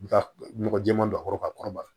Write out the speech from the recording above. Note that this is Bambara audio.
I bɛ ka nɔgɔ jɛman don a kɔrɔ ka kɔrɔbaya